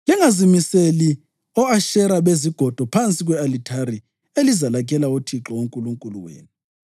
“Lingazimiseli o-Ashera bezigodo phansi kwe-alithari elizalakhela uThixo uNkulunkulu wenu,